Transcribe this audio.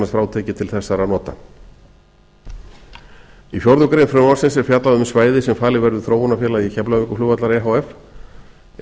frátekið til þessara nota í fjórða grein frumvarps er fjallað um svæði sem falið verður þróunarfélagi keflavíkurflugvallar efh inni á